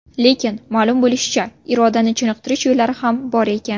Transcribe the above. Lekin, ma’lum bo‘lishicha, irodani chiniqtirish yo‘llari ham bor ekan.